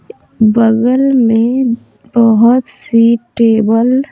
बगल में बहुत सी टेबल --